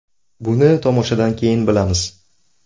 Buni tomoshadan keyin bilamiz.